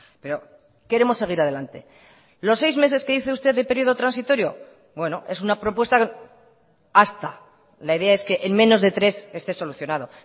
pero queremos seguir adelante los seis meses que dice usted de periodo transitorio bueno es una propuesta hasta la idea es que en menos de tres esté solucionado